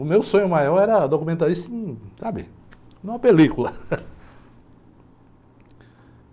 O meu sonho maior era documentar isso em, sabe? Numa película.